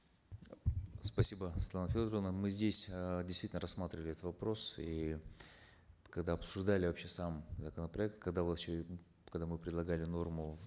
спасибо светлана федоровна мы здесь эээ действительно рассматривали этот вопрос и когда обсуждали вообще сам законопроект когда вот еще когда мы предлагали норму в